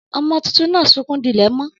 Ọmọ títùn nà súkún dílè mọ.